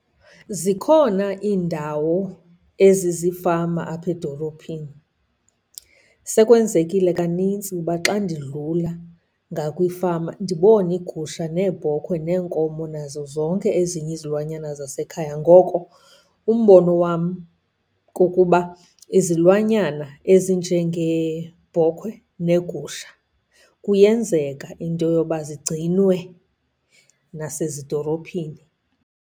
Zikhona iindawo ezizifama apha edolophini. Sekwenzekile kanintsi uba xa ndidlula ngakwifama ndibone iigusha neebhokhwe neenkomo, nazo zonke ezinye izilwanyana zasekhaya. Ngoko umbono wam kukuba izilwanyana ezinjengeebhokhwe neegusha kuyenzeka into yoba zigcinwe nasezidolophini.